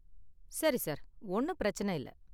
சரி சார், ஒன்னும் பிரச்சன இல்ல.